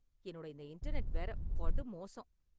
என்னோட இந்த இன்டர்நெட் வேற, படு மோசம்.